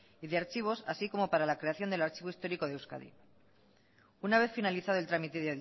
y de archivos así como para la creación del archivo histórico de euskadi una vez finalizado el trámite